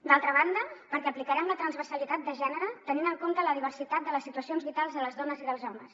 d’altra banda perquè aplicarem la transversalitat de gènere tenint en compte la diversitat de les situacions vitals de les dones i dels homes